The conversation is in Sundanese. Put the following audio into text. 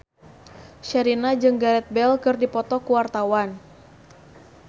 Sherina jeung Gareth Bale keur dipoto ku wartawan